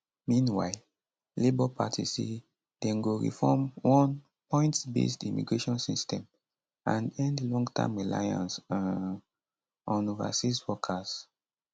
meanwhile labour party say dem go reform one pointsbased immigration system and end longterm reliance um on overseas workers